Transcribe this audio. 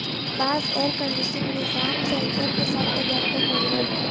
بعض air conditioning نظام sensor کے ساتھ تیار کر رہے ہیں